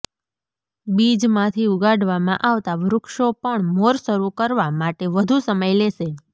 બીજમાંથી ઉગાડવામાં આવતા વૃક્ષો પણ મોર શરૂ કરવા માટે વધુ સમય લેશે